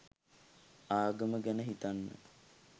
ආගම ගැන හිතන්න